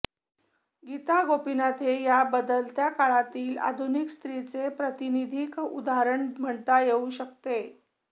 गीता गोपिनाथ हे या बदलत्या काळातील आधुनिक स्रीचे प्रातिनिधीक उदाहरण म्हणता येऊ शकते